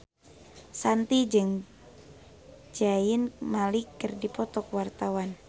Shanti jeung Zayn Malik keur dipoto ku wartawan